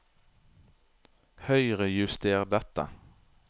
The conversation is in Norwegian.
Høyrejuster dette